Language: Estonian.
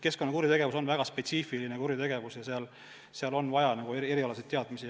Keskkonnakuritegevus on väga spetsiifiline kuritegevus ja selle ohjeldamiseks on vaja erialaseid teadmisi.